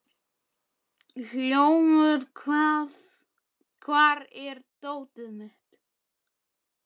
Hljómur, hvar er dótið mitt?